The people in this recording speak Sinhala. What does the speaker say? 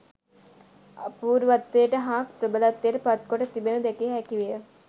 අපූර්වත්වයට හා ප්‍රබලත්වයට පත් කොට තිබෙනු දැකිය හැකි විය